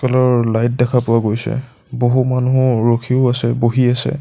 লৰ লাইট দেখা পোৱা গৈছে বহু মানুহ ৰখিও আছে বহি আছে।